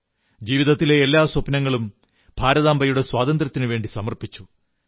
ജീവിതത്തിലെ എല്ലാ സ്വപ്നങ്ങളും ഭാരതാംബയുടെ സ്വാതന്ത്ര്യത്തിനുവേണ്ടി സമർപ്പിച്ചു